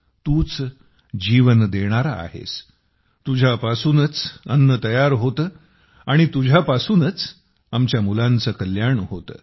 तूच जीवन देणारा आहेस तुझ्यापासूनच अन्न तयार होते आणि तुझ्यापासूनच आमच्या मुलांचे कल्याण होते